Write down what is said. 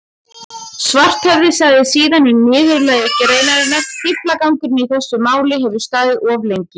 Svarthöfði sagði síðan í niðurlagi greinarinnar: Fíflagangurinn í þessu máli hefur staðið of lengi.